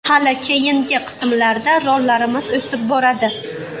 Hali keyingi qismlarda rollarimiz o‘sib boradi.